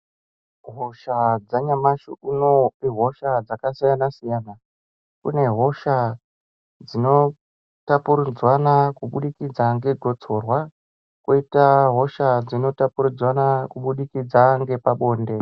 Hosha dzanyamashi unou ihosha dzakasiyana siyana. Kune hosha dzinotapuridzwana kubudikidza ngegotsorwa kwoita hosha dzinotapuridzwana kubudikidza ngepabonde.